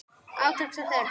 Átaks er þörf.